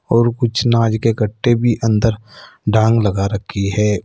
और कुछ नाज के कट्टे भी अंदर डांग लगा रखी है।